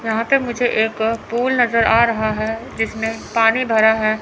यहां पे मुझे एक पूल नजर आ रहा है जिसमें पानी भरा हैं।